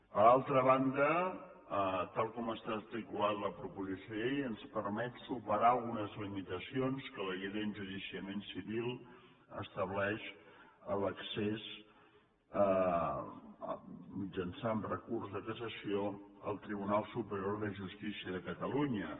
per altra banda tal com està articulada la proposició de llei ens permet superar algunes limitacions que la llei d’enjudiciament civil estableix a l’accés mitjançant recurs de cassació al tribunal superior de justícia de catalunya